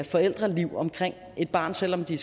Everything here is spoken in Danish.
forældreliv omkring et barn selv om de